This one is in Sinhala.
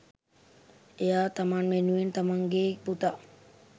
එයා තමන් වෙනුවෙන් තමන්ගෙ පුතා